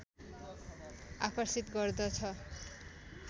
आकर्षित गर्दछ